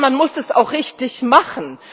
Aber man muss das auch richtig machen!